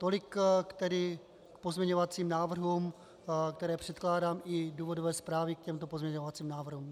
Tolik k pozměňovacím návrhům, které předkládám, i důvodové zprávy k těmto pozměňovacím návrhům.